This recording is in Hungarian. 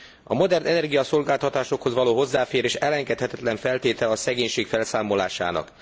A modern energiaszolgáltatásokhoz való hozzáférés elengedhetetlen feltétele a szegénység felszámolásának.